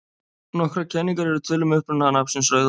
Nokkrar kenningar eru til um uppruna nafnsins Rauðahaf.